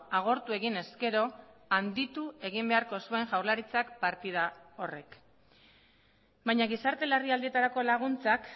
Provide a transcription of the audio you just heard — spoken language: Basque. agortu egin ezkero handitu egin beharko zuen jaurlaritzak partida horrek baina gizarte larrialdietarako laguntzak